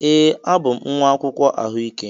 Ee, abụ m nwa akwụkwọ ahụike.